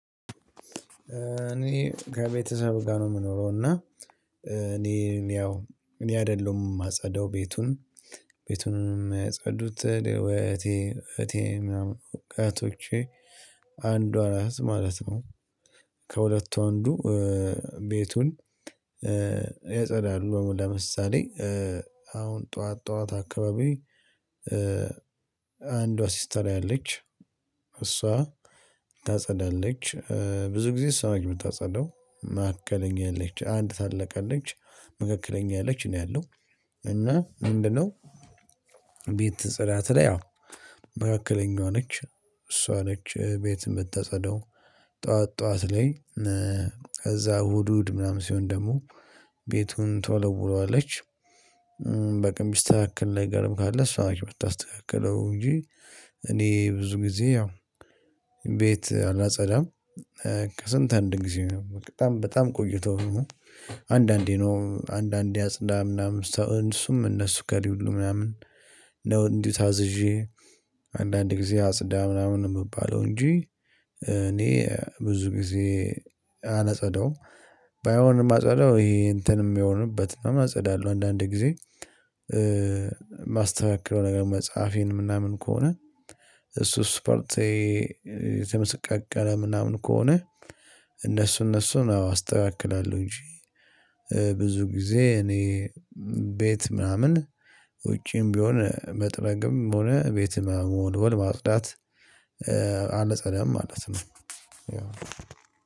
እኔ ከቤተሰብ ጋር ነው የምኖረው። እና እኔ እኔ ያው እኔ አይደለሁም የማጸዳው ቤቱን። ቤቱንም የሚያጸዱት ወይ እህቴ እህቴ ምናምን እህቶቼ አንዷ እህት ማለት ነው። ከሁለቱ ወንዱ ቤቱን ያጸዳሉ። ለምሳሌ አሁን ጠዋት ጠዋት አካባቢ። አንዷ ሲስተሬ አለች እሷ ታጸዳለች። ብዙ ጊዜ እሷ ነች ምታጸዳው መካከለኛ አለች አንድ ታለቅ አለች መካከለኛ አለች እኔ አለው። እና ምንድነው? ቤት ጽዳት ላይ ያው መካከለኛ ሆነች። እሷ ነች ቤት የምትጸደው ጠዋት ጠዋት ላይ። እዛ እሁድ እሁድ ምናምን ሲሆን ደግሞ ቤቱን ተወለውለዋለች። በቃ ሚስተካከል ነገርም ካለ እሷን ምታስተካክለው እንጂ እኔ ብዙ ጊዜ ያው ቤት አላጸዳም። ከስንት አንድ ጊዜ በጣም በጣም ቆይቶ። አንዳንዴ ነው አንዳንዴ አጽዳ ምናምን ሰው እሱም እነሱ ከሌለ ሁሉ ምናምን ነው። እንዲሁ ታዝዤ አንዳንድ ጊዜ አጽዳ ምናምን ነው የምባለው እንጂ እኔ ብዙ ጊዜ አላጸዳውም። ባይሆን እማጸደው ይሄ እንትን የሚሆንበት ምናምን አጸዳለው አንዳንድ ጊዜ የማስተካከለው ነገር መጽሐፌን የምናምን ከሆነ። እሱ ስፖርቴ የተመቃቀለ ምናምን ከሆነ። እነሱ እነሱን አስተካክላለሁ እንጂ። ብዙ ጊዜ እኔ ቤት ምናምን ውጪም ቢሆን መጥረግም ሆነ ቤት መ መወልወል ማጽዳት። አላጸዳም ማለት ነው።